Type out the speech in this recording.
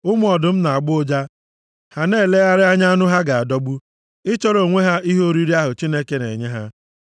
Ụmụ ọdụm na-agbọ ụja ha na-elegharị anya anụ ha ga-adọgbu, ịchọrọ onwe ha ihe oriri ahụ Chineke na-enye ha.